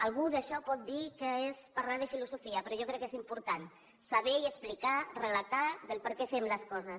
algú d’això pot dir que és parlar de filosofia però jo crec que és important saber explicar relatar per què fem les coses